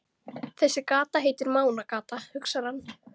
Þessi gata heitir Mánagata, hugsar hann.